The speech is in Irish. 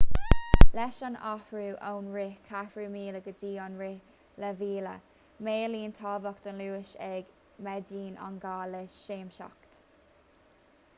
leis an athrú ón rith ceathrú míle go dtí an rith leath mhíle maolaíonn tábhacht an luais agus méadaíonn an gá le seasmhacht